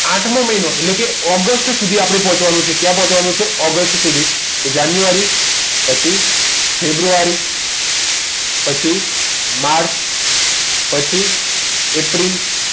આઠમો મહિનો એટલે આપણે ઓગસ્ટ સુધી પહોંચવાનું છે ઓગસ્ટ સુધી તો જે જાન્યુઆરી પછી ફેબ્રુઆરી પછી માર્ચ પછી એપ્રિલ